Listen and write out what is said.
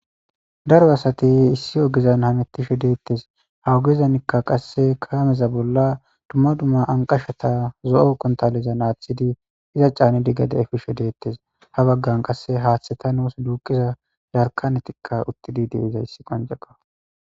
Daro asati issi ogezan hamittishe deettes hawugezanikka qasse kaameza bolla dumma dumma anqashata zo'o kontaleza naaththidi iza caane diggede efishe deettes ha baggan qasse haaththeta nuus duuqiza yarkanetikka uttidi di iza yssi qonceqa